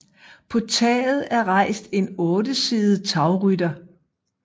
På taget er rejst en ottesidet tagrytter